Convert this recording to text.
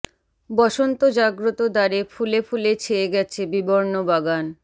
বসন্ত জাগ্রত দ্বারে ফুলে ফুলে ছেয়ে গেছে বিবর্ণ বাগান